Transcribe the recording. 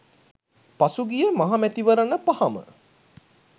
පසුගිය මහ මැතිවරණ පහම